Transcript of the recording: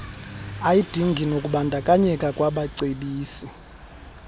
ayidingi nakubandakanyeka kwabacebisi